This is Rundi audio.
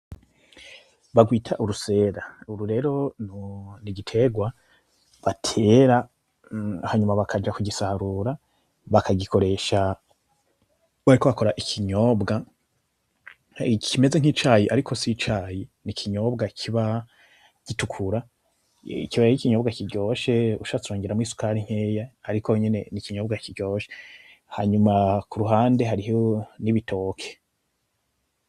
Barwita urusera uru rero nigiterwa batera hanyuma bakaja kugisarura bakagikoresha, bariko bakora ikinyobwa, kimeze nkicayi ariko sicayi ni ikinyobwa kiba gitukura, kiba arikinyobwa kiryoshe ushatse wongeramwo isukari nkeya, ariko nyene nikinyobwa kiryoshe, hanyuma kuruhande hariho nibitoki.